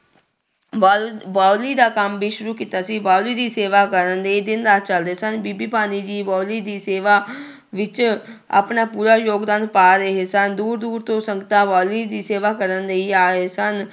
ਬਓ ਬਾਓਲੀ ਦਾ ਕੰਮ ਵੀ ਸ਼ੁਰੂੂ ਕੀਤਾ ਸੀ ਬਾਓਲੀ ਦੀ ਸੇਵਾ ਕਰਨ ਲਈ ਦਿਨ ਰਾਤ ਚੱਲਦੇ ਸਨ, ਬੀਬੀ ਭਾਨੀ ਜੀ ਬਾਓਲੀ ਦੀ ਸੇਵਾ ਵਿੱਚ ਆਪਣਾ ਪੂਰਾ ਯੋਗਦਾਨ ਪਾ ਰਹੇ ਸਨ, ਦੂਰ ਦੂਰ ਤੋਂ ਸੰਗਤਾਂ ਬਾਓਲੀ ਦੀ ਸੇਵਾ ਕਰਨ ਲਈ ਆ ਰਹੇ ਸਨ।